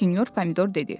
Sinyor Pomidor dedi.